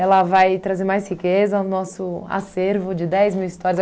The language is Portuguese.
vai trazer mais riqueza no nosso acervo de dez mil histórias.